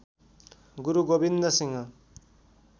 Guru Gobind Singh